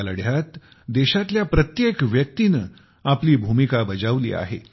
या लढ्यात देशातल्या प्रत्येक व्यक्तीने आपली भूमिका बजावली आहे